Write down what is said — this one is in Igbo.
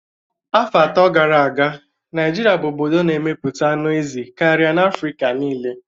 Afọ atọ gara aga, Naịjirịa bụ obodo na-emepụta anụ ezi karịa na Afrịka niile